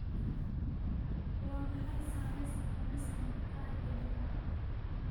Waa maxay saamaynta cunista maqaarka digaaga?